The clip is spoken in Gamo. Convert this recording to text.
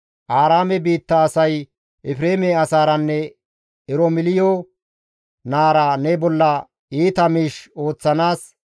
Aaraame biitta asay Efreeme asaaranne Eromeliyo naara ne bolla iita miish ooththanaas,